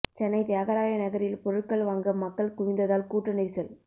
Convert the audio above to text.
சென்னை தியாகராய நகரில் பொருட்கள் வாங்க மக்கள் குவிந்ததால் கூட்ட நெரிசல்